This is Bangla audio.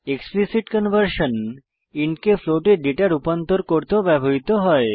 এক্সপ্লিসিট কনভার্সন ইন্ট কে ফ্লোট এ ডেটা রূপান্তর করতেও ব্যবহৃত হয়